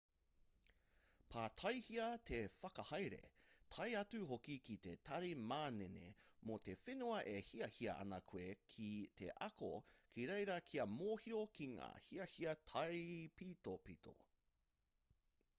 pātaihia te whakahaere tae atu hoki ki te tari manene mō te whenua e hiahia ana koe ki te ako ki reira kia mōhio ki ngā hiahia taipitopito